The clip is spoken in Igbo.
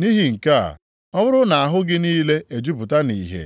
Nʼihi nke a, ọ bụrụ na ahụ gị niile ejupụta nʼìhè,